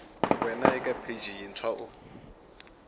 wana eka pheji yintshwa u